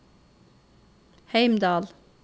Heimdal